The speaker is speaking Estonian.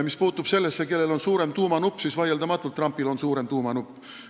Mis puutub sellesse, kellel on suurem tuumanupp, siis vaieldamatult on Trumpil suurem tuumanupp.